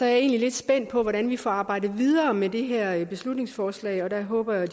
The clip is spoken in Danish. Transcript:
er egentlig lidt spændt på hvordan vi får arbejdet videre med det her beslutningsforslag og jeg håber jo